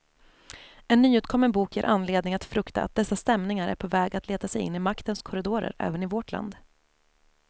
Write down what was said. En nyutkommen bok ger anledning att frukta att dessa stämningar är på väg att leta sig in i maktens korridorer även i vårt land.